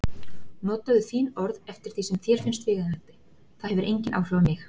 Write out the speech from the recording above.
Notaðu þín orð eftir því sem þér finnst viðeigandi, það hefur engin áhrif á mig.